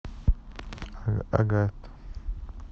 агат